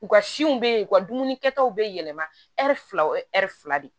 U ka siw bɛ yen u ka dumuni kɛtaw bɛ yɛlɛma filaw ɛri fila de